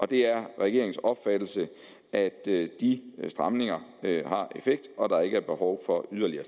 det er regeringens opfattelse at de stramninger har effekt og at der ikke er behov for yderligere